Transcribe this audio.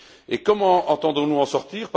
Et comment entendons nous en sortir?